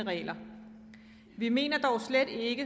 regler vi mener dog slet ikke